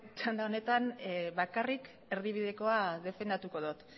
txanda honetan bakarrik erdibidekoa defendatuko dot